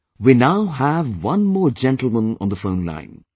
Friends, we now have one more gentleman on the phone line